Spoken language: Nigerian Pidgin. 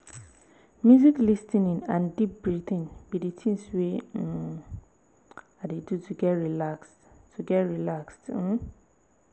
wetin be di one thing you dey do to avoid stressors?